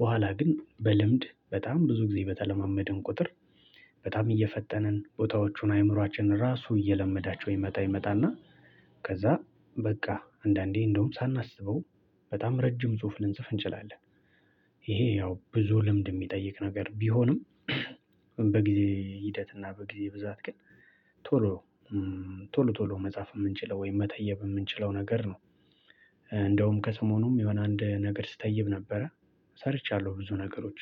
በኋላ ግን በልምድ በጣም ብዙ ጊዜ በተለማመድን ቁጥር። በጣም እየፈጠንን ቦታዎቹን አእምሮአችን ራሱ እየለመዳቸው ይመጣ ይመጣና ከዛ በቃ አንዳንዴ እንደውም ሳናስበው በጣም ረጅም ጽሁፍ ልንጽፍ እንችላለን። ይሄ ያው ብዙ ልምድ የሚጠይቅ ነገር ቢሆንም። በጊዜ ሂደት እና በጊዜ ብዛት ግን ቶሎ ቶሎ ቶሎ መጻፍ የምንችለው ወይም መተየብ የምንችለው ነገር ነው። እንደውም ከስሞኑም የሆነ አንድ ነገር ስትይብ ነበረ ሰርቻለሁ ብዙ ነገሮች።